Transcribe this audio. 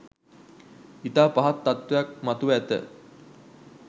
ඉතා පහත් තත්වයක් මතුව ඇත